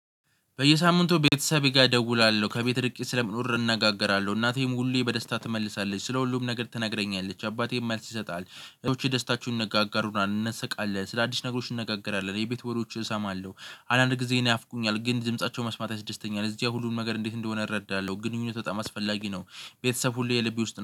በየሳምንቱ ቤተሰቤ ጋር እደውላለሁ ከቤት ርቄ ስለምኖር እንነጋገራለን እናቴም ሁሌ በደስታ ትመልሳለች ስለ ሁሉም ነገር ትነግረኛለች አባቴም መልስ ይሰጣል። ደስታችሁን እንነጋጋሩና እንነስቃለን ስለአዲስ ነገሮች እንነጋገራለን የቤት ወሎችን እሰማለሁ አንዳንድ ጊዜ ይናፍቁኛል ግን ድምፃቸው መስማት ያስደስተኛል። እዚያ ሁሉን መንገድ እንዴት እንደሆነ እረዳለሁ። ግንኙነት በጣም አስፈላጊ ነው። ቤተሰብ ሁሉ የልቤ ውስጥ